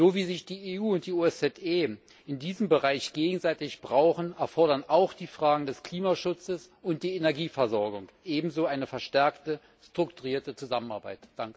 So wie sich die EU und die OSZE in diesem Bereich gegenseitig brauchen, erfordern die Fragen des Klimaschutzes und die Energieversorgung ebenso eine verstärkte strukturierte Zusammenarbeit.